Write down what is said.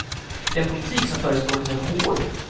Den politik som förespråkas är hård.